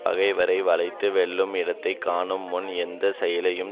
பகைவரை வளைத்து வெல்லும் இடத்தை காணும் முன் எந்த செயலையும்